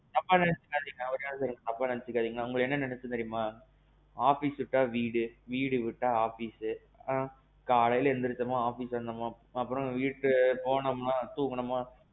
தப்பா நினைச்சிக்காதிங்க நான் உங்கள பத்தி என்ன நினைச்சேன் தெரியுமா, office விட்டா வீடு, வீடு விட்டா office ஆ. காலையில எந்திரிச்சோமா office வந்தோமா, அப்பறோம் வீட்டுக்கு போனோமா தூங்குனோமா,